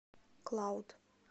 клауд